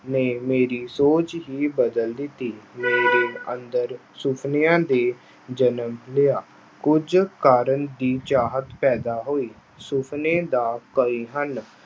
ਨੇ ਮੇਰੀ ਸੋਚ ਹੀ ਬਦਲ ਦਿੱਤੀ। ਮੇਰੇ ਅੰਦਰ ਸੁਪਨਿਆਂ ਦੇ ਜਨਮ ਲਿਆ। ਕੁਝ ਕਰਨ ਦੀ ਚਾਹਤ ਪੈਦਾ ਹੋਈ।